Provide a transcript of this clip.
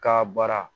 Ka bara